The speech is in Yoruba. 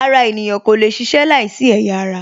Ara ènìyàn kò lè ṣiṣẹ́ láìsí ẹ̀yà ara